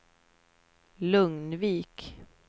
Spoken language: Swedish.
Lugnvik